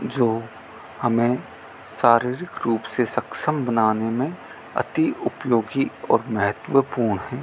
जो हमें शारीरिक रूप से सक्षम बनाने मे अति उपयोगी और महत्वपूर्ण हैं।